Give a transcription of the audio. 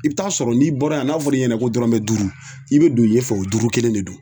I bi taa sɔrɔ n'i bɔra yan n'a fɔra i ɲɛna ko dɔrɔmɛ duuru i be don yen fɛ o duuru kelen de do